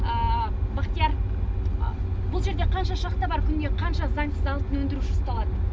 бахтияр бұл жерде қанша шахта бар күніне қанша заңсыз алтын өндіруші ұсталады